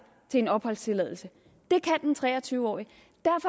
til en opholdstilladelse det kan den tre og tyve årige